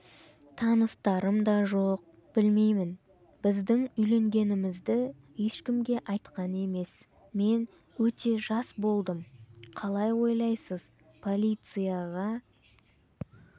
таныстарым да жоқ білмеймін біздің үйленгенімізді ешкімге айтқан емес мен өте жас болдым қалай ойлайсыз полицияға